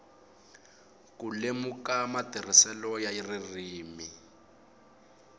ku lemuka matirhiselo ya ririmi